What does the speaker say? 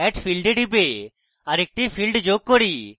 add field এ টিপে আরেকটি field যোগ করি